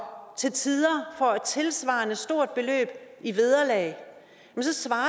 til tider får et tilsvarende stort beløb i vederlag så svarer